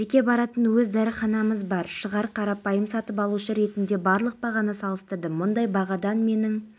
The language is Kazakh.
мемлекет бітімгерлік операцияларына атсалысып келеді қазақстан мен қырғызстан өз бітімгерлік күштерін миссияның құрамында қызмет атқаруға